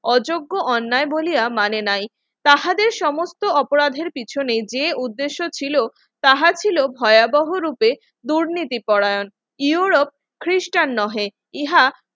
অযোগ্য অন্যায় বলিয়া মানে নাই তাহাদের সমস্ত অপরাধের পিছনে যে উদ্দেশ্য ছিল তাহা ছিল ভয়াবহ রূপে দুর্নীতি পরায়ন ইউরোপ খ্রিস্টান নহে ইহা